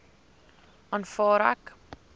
aanvaar ek